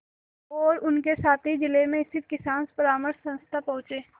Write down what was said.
और उनके साथी जिले में स्थित किसान परामर्श संस्था पहुँचे